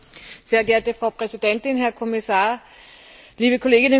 Frau Präsidentin, Herr Kommissar, liebe Kolleginnen und Kollegen!